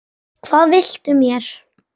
Hvað viltu mér?